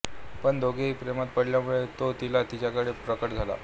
पण दोघेही प्रेमात पडल्यामुळे तो तिला तिच्याकडे प्रकट करतो